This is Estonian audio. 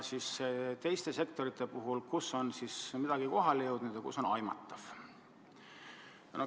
Mõnes teises sektoris on midagi kohale jõudnud ja midagi on aimatav.